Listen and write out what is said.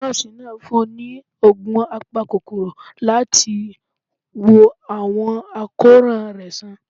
Nọ́ọ̀sì naa fún ni òògùn àpákokoró latí wò awọn akoran rẹ sàn